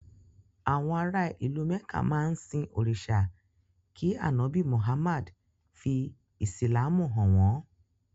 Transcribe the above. Àwọn ara ìlú Mẹ̀ká máa ń sin òrìṣà kí ànọ́bì Muhammad fí Ìsìlámù hàn wọ́n